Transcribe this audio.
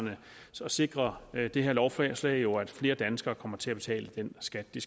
så sikrer det her lovforslag jo at flere danskere kommer til at betale den skat de